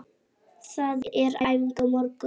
Það er æfing á morgun.